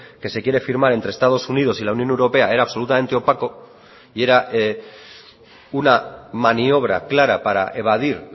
que se quiere firmar entre estados unidos y la unión europea era absolutamente opaco y era una maniobra clara para evadir